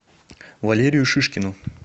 валерию шишкину